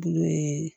Bulu ye